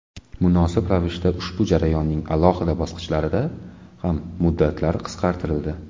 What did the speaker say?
Munosib ravishda ushbu jarayonning alohida bosqichlarida ham muddatlar qisqartirildi.